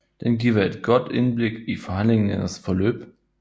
Den giver et godt indblik i forhandlingernes forløb